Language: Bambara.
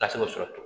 Tasuma sɔrɔ cogo